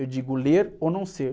Eu digo ler ou não ser?